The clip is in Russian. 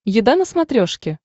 еда на смотрешке